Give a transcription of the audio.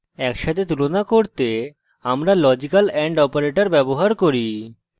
একসাথে তুলনা করতে আমরা লজিক্যাল and operator ব্যবহার করি